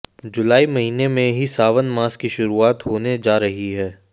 जुलाई महिने से ही सावन मास की शुरूआत होने जा रही है